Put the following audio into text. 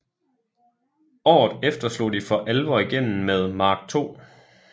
Året efter slog de for alvor igennem med Mark II